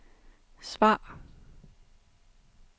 svar